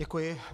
Děkuji.